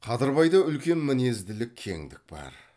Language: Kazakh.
қадырбайда үлкен мінезділік кеңдік бар